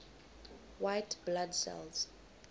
white blood cells